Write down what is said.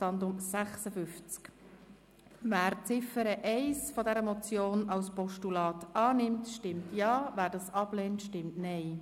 Wer die Ziffer 1 dieser Motion als Postulat annimmt, stimmt Ja, wer dies ablehnt, stimmt Nein.